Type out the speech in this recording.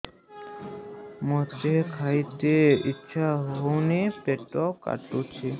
ମୋତେ ଖାଇତେ ଇଚ୍ଛା ହଉନି ପେଟ ଠେସୁଛି